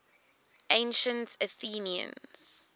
ancient athenians